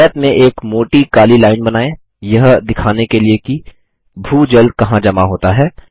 आयत में एक मोटी काली लाइन बनाएँ यह दिखाने के लिए कि भू जल कहाँ जमा होता है